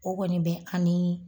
O kɔni bɛ an nii